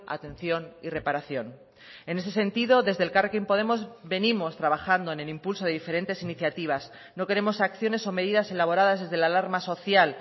atención y reparación en ese sentido desde elkarrekin podemos venimos trabajando en el impulso de diferentes iniciativas no queremos acciones o medidas elaboradas desde la alarma social